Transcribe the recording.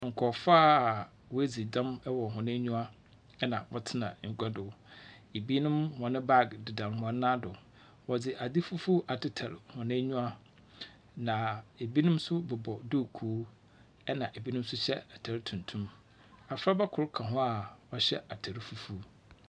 Nkurɔfo a wedzi dɛm ɛwɔ hɔn enyiwa ɛna wɔtsena egua do. Ebinom wɔn bag deda wɔn nan do, wɔdze adze fufuw atetare hɔn eyiwa, na ebinom so bobɔ duukuu, ɛna ebinom so hyɛ atar tuntum. Afraba kor ka ho a ɔhyɛ atar fufuw.